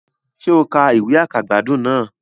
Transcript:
Sé o ka ìwé àkàgbádùn náà